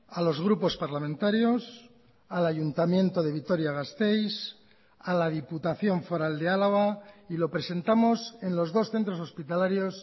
a los grupos parlamentarios al ayuntamiento de vitoria gasteiz a la diputación foral de álava y lo presentamos en los dos centros hospitalarios